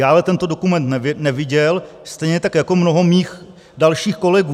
Já ale tento dokument neviděl, stejně tak jako mnoho mých dalších kolegů.